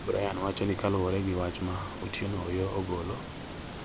Brian wacho ni kaluore gi wach ma Otieno Oyoo ogolo